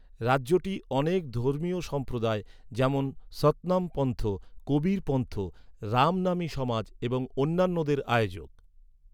রাজ্যটি অনেক ধর্মীয় সম্প্রদায় যেমন সতনামপন্থ, কবিরপন্থ, রামনামি সমাজ এবং অন্যান্যদের আয়োজক।